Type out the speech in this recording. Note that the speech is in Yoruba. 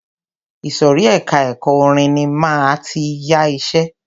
Ìsòrí ẹka ẹ̀kọ́ orin ní máa tí yá iṣẹ.